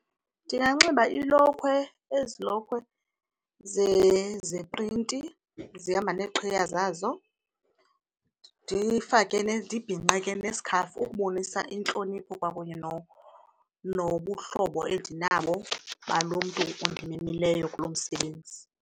Ndinganxiba ilokhwe, ezi lokhwe zeprinti zihamba neeqhiya zazo. Ndifake ndibhinqe ke nesikhafu ukubonisa intlonipho kwakunye nobuhlobo endinabo balo mntu undimemileyo kulo msebenzi.